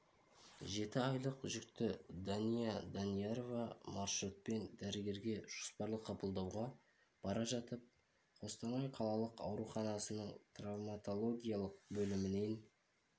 жеті айлық жүкті дания даниярова маршрутпен дәрігерге жоспарлы қабылдауға бара жатып қостанай қалалық ауруханасының травмотологиялық бөлімінен